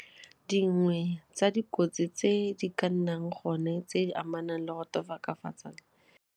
Dingwe tsa dikotsi tse di ka nnang gone tse di amanang le go .